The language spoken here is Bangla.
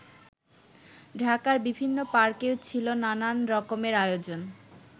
ঢাকার বিভিন্ন পার্কেও ছিল নানান রকমের আয়োজন।